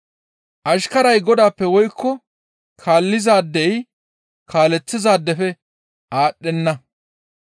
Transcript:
«Ashkaray godaappe woykko kaallizaadey kaaleththizaadefe aadhdhenna.